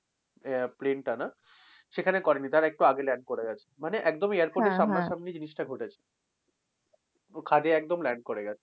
আহ plane টা না? সেখানে করেনি তার একটু আগে land করে গেছে। মানে একদম airport এর সামনা সামনি জিনিসটা ঘটেছে। খাদে একদম land করে গেছে।